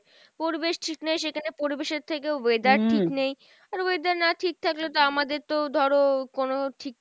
পরিবেশ ঠিক নেই সেখানে পরিবেশের থেকেও weather ঠিক নেই, আর weather না ঠিক থাকলে তো আমাদের তো ধরো কোনো ঠিক থাকার